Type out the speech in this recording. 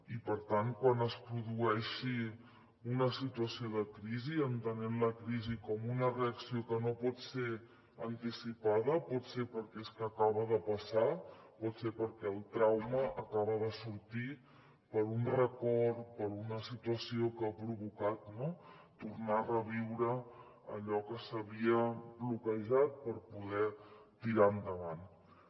i per tant quan es produeixi una situació de crisi entenent la crisi com una reacció que no pot ser anticipada pot ser perquè acaba de passar pot ser perquè el trauma acaba de sortir per un record per una situació que ha provocat no tornar a reviure allò que s’havia bloquejat per poder tirar endavant